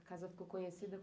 A casa ficou conhecida?